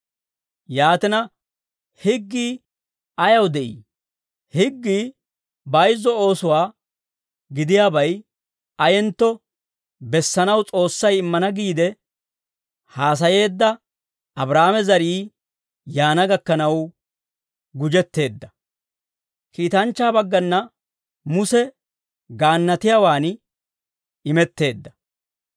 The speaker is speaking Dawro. Yaatina, higgii ayaw de'ii? Higgii bayizzo oosuwaa gidiyaabay ayentto bessanaw S'oossay immana giide haasayeedda Abraahaame zarii yaana gakkanaw gujetteedda; kiitanchchaa baggana Muse gaannatiyaawaan imetteedda.